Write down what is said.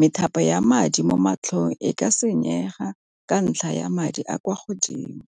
methapo ya madi mo matlhong e ka senyega ka ntlha ya madi a kwa godimo.